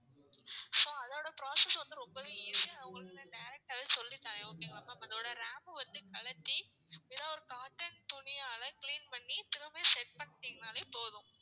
so அதோட process வந்து ரொம்பவே easy அடதை உங்களுக்கு நான் direct ஆவே சொல்லி தறேன் okay ங்களா அதோட RAM வந்து கழட்டி ஏதாவது ஒரு காட்டன் துணியால clean பண்ணி திரும்பவும் set பண்ணிட்டீங்கன்னாலே போதும்